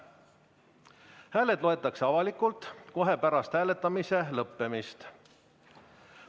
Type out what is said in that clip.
Hääled loetakse avalikult kohe pärast hääletamise lõppemist.